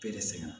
Perese ma